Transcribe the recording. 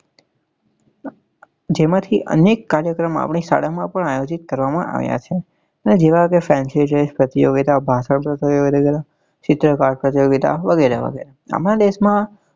જેમાં થી અનેક કાર્યક્રમો અમે શાળા માં પણ આયોજિત કરવા માં આવ્યા છે જેવા કે fency dress પ્રત્યોગીતા ભાષા ચિત્રકાર પ્રત્યોગીતા વગેરે વગેરે